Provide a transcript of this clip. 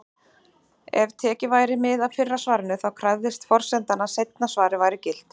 Ef tekið væri mið af fyrra svarinu, þá krefðist forsendan að seinna svarið væri gilt.